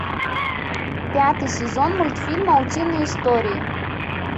пятый сезон мультфильма утиные истории